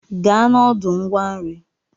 Gaa n'ọdụ ngwa nri!